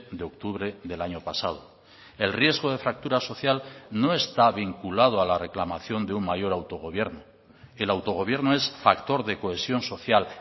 de octubre del año pasado el riesgo de fractura social no está vinculado a la reclamación de un mayor autogobierno el autogobierno es factor de cohesión social